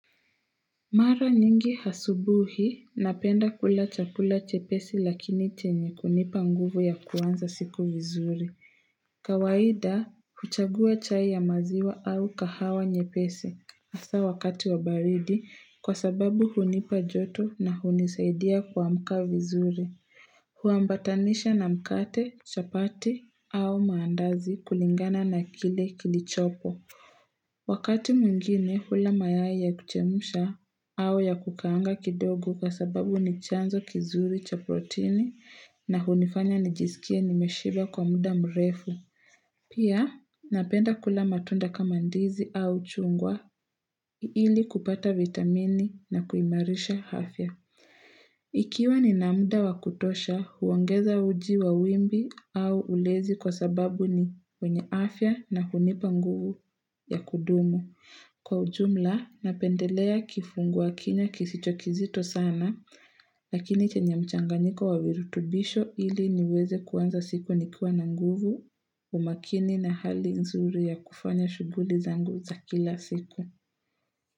Mara nyingi asubuhi napenda kula chakula chepesi lakini chenye kunipa nguvu ya kuanza siku vizuri kawaida huchagua chai ya maziwa au kahawa nyepesi hasa wakati wa baridi kwa sababu hunipa joto na hunisaidia kuamka vizuri Huambatanisha na mkate chapati au maandazi kulingana na kile kilichopo Wakati mwingine hula mayai ya kuchemsha au ya kukaanga kidogo kwa sababu ni chanzo kizuri cha proteini na hunifanya nijisikie nimeshiba kwa muda mrefu. Pia napenda kula matunda kama ndizi au chungwa ili kupata vitamini na kuimarisha afya. Ikiwa nina muda wakutosha, huongeza uji wa wimbi au ulezi kwa sababu ni wenye afya na hunipa nguvu ya kudumu. Kwa ujumla, napendelea kifungua kinywa kisicho kizito sana, lakini chenye mchanganiko wa virutubisho ili niweze kuanza siku nikiwa na nguvu umakini na hali nzuri ya kufanya shughuli zangu za kila siku.